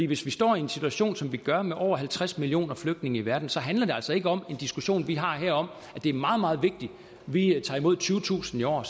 hvis vi står i en situation som vi gør med over halvtreds millioner flygtninge i verden så handler det altså ikke om en diskussion vi har her om at det er meget meget vigtigt at vi tager imod tyvetusind i år